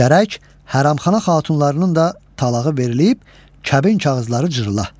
Gərək hərəm xana xatunlarının da talağı verilib, kəbin kağızları cırıla.